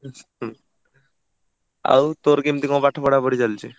ଆଉ ତୋର କେମିତି କଣ ପାଠ ପଢାପଢି ଚାଲିଚି?